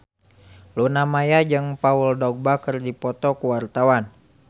Luna Maya jeung Paul Dogba keur dipoto ku wartawan